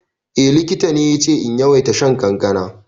Eh, likita ne yace in yawaita shan kankana.